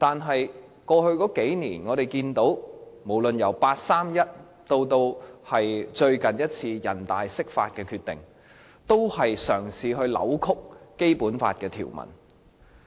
可是，我們看到在過去數年，無論是八三一方案以至最近一次人大釋法的決定，均在試圖扭曲《基本法》的條文。